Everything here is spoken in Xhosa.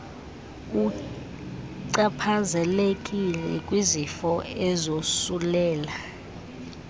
uchaphazelekile kwizifo ezosulela